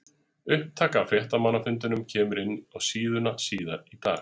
Upptaka af fréttamannafundinum kemur inn á síðuna síðar í dag.